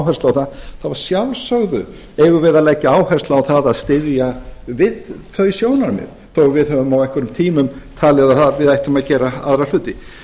áherslu á það þá að sjálfsögðu eigum við að leggja áherslu á að styðja við þau sjónarmið þó við höfum á einhverjum tímum talið að við ættum að gera aðra hluti